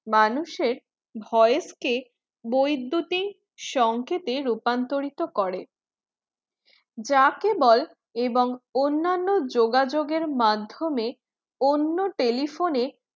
মানুষের voice কে বৈদ্যতিক সংকেতে রূপান্তরিত করে যা কেবল এবং অনান্য যোগাযোগের মাধ্যমে অন্য telephone এর